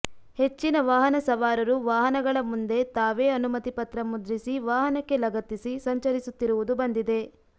ಹೆಚ್ಚಿನ ವಾಹನ ಸವಾರರು ವಾಹನಗಳ ಮುಂದೆ ತಾವೇ ಅನುಮತಿ ಪತ್ರ ಮುದ್ರಿಸಿ ವಾಹನಕ್ಕೆ ಲಗತ್ತಿಸಿ ಸಂಚರಿಸುತ್ತಿರುವುದು ಬಂದಿದೆ